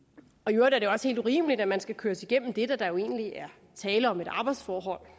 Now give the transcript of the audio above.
i øvrigt er det også helt urimeligt at man skal køres igennem det da der jo egentlig er tale om et arbejdsforhold